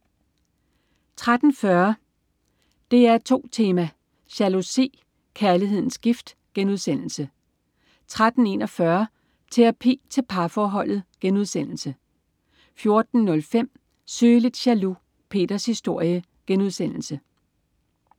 13.40 DR2 Tema: Jalousi. Kærlighedens gift* 13.41 Terapi til parforholdet* 14.05 Sygelig jaloux. Peters historie*